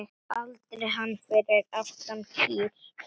Aldrei hann fyrir aftan kýr